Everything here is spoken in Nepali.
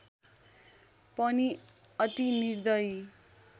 पनि अति निर्दयी